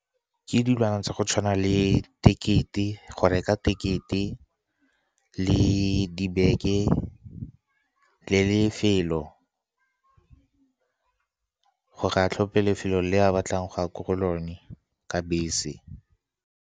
Ke dilwana tsa go tshwana le tekete, go reka tekete le dibeke le lefelo, gore a tlhophe lefelo le ba batlang go ya ko go lone ka bese.